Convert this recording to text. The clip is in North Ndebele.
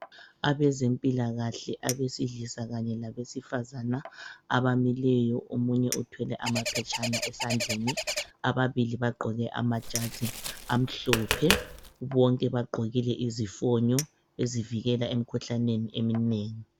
Abezempilakahle abesilisa kanye labesifazana abamileyo omunye uthwele amaphetshana esandleni, ababili bagqoke amajazi amhlophe bonke bagqokile izifonyo ezivikela emikhuhlaneni eminengi.